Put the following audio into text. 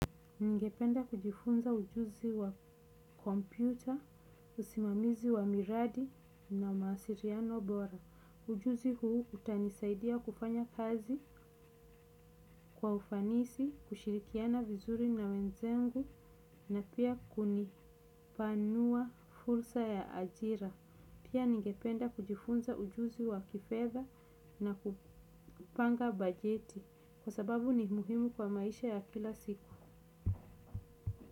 Ningependa kujifunza ujuzi wa kompyuta, usimamizi wa miradi na mawasiliano bora. Ujuzi huu utanisaidia kufanya kazi kwa ufanisi, kushirikiana vizuri na wenzangu na pia kunipanua fursa ya ajira. Pia ningependa kujifunza ujuzi wa kifedha na kupanga bajeti kwa sababu ni muhimu kwa maisha ya kila siku.